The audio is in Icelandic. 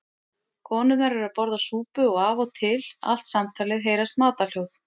Konurnar eru að borða súpu og af og til allt samtalið heyrast matarhljóð.